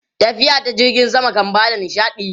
Tafiya ta jirgin sama kan ba da nishaɗi.